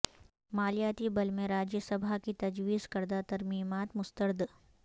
مالیاتی بل میں راجیہ سبھا کی تجویز کردہ ترمیمات مسترد